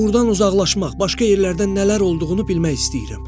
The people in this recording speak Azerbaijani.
Burdan uzaqlaşmaq, başqa yerlərdən nələr olduğunu bilmək istəyirəm.